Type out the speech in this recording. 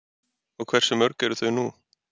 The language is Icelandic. Og hversu mörg eru þau nú?